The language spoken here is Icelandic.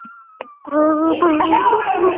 Sé hún Guði falin.